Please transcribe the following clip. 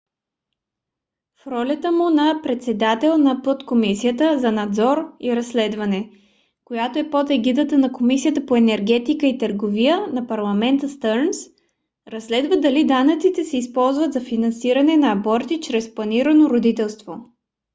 в ролята му на председател на подкомисията за надзор и разследване която е под егидата на комисията по енергетика и търговия на парламента стърнс разследва дали данъците се използват за финансиране на аборти чрез планирано родителство